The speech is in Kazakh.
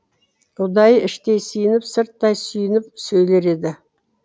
ұдайы іштей сиынып сырттай сүйеніп сөйлер еді